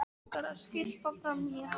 Langar að skyrpa framan í hann.